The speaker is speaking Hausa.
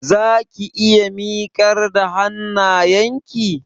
Zaki iya miƙar da hannayenki?